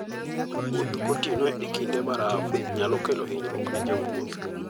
Wuoth gotieno e kinde baraf nyalo kelo hinyruok ne jowuoth.